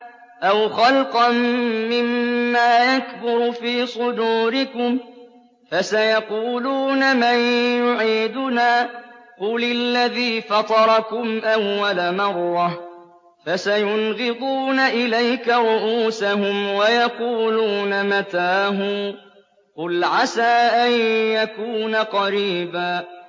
أَوْ خَلْقًا مِّمَّا يَكْبُرُ فِي صُدُورِكُمْ ۚ فَسَيَقُولُونَ مَن يُعِيدُنَا ۖ قُلِ الَّذِي فَطَرَكُمْ أَوَّلَ مَرَّةٍ ۚ فَسَيُنْغِضُونَ إِلَيْكَ رُءُوسَهُمْ وَيَقُولُونَ مَتَىٰ هُوَ ۖ قُلْ عَسَىٰ أَن يَكُونَ قَرِيبًا